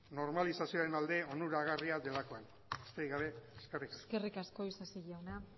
normalizazioaren alde onuragarria delakoan besterik gabe eskerrik asko eskerrik asko isasi jauna